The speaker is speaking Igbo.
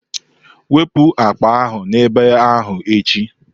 Wepụ akpa ahụ n'ebe ahụ echi!